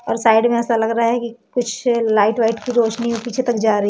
और साइड में ऐसा लग रहा है कि कुछ लाइट वाइट की रोशनी पीछे तक जा रही--